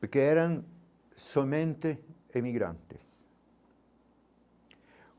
Porque eram somente imigrantes.